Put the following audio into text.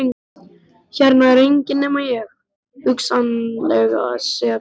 Hérna er enginn nema ég, hugsanlega sek um innbrot.